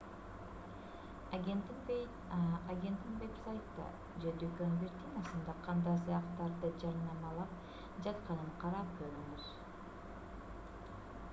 агенттин вебсайтта же дүкөн виртинасында кандай саякаттарды жарнамалап жатканын карап көрүңүз